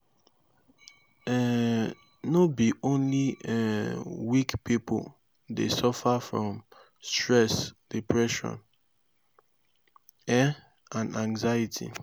stigma dey um mek pipo um fear to tok about dia emotional wahala